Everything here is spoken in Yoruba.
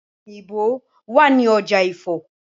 Ọ̀pẹ̀ òyìnbo wà ní ọjà Ifo.